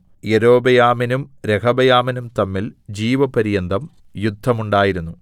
യൊരോബെയാമിനും രെഹബെയമിനും തമ്മിൽ ജീവപര്യന്തം യുദ്ധം ഉണ്ടായിരുന്നു